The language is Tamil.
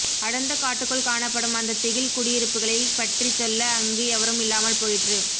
அடர்ந்த காட்டுக்குள் காணப்படும் அந்த திகில் குடியிருப்புகளைப்பற்றிச்சொல்ல அங்கு எவரும் இல்லாமல் போயிற்று